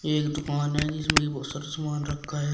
एक दुकान है जिसमें की बहोत सारा सामान रखा है।